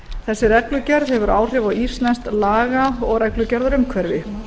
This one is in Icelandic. þessi reglugerð hefur áhrif á íslenskt laga og reglugerðaumhverfi